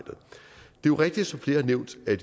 jo rigtigt som flere har nævnt at